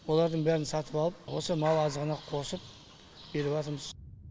олардың бәрін сатып алып осы мал азығына қосып беріпатырмыз